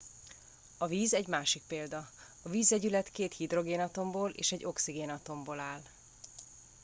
a víz egy másik példa a vízvegyület két hidrogénatomból és egy oxigénatomból áll